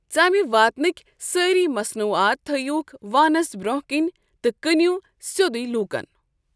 ژَمہِ واتنٕکۍ سٲری مَصنوٗعاتٕ تھٔویٛوٗكھ وانَس برونہہ کنہ تہٕ كٕنِو سیودٕے لوٗكن۔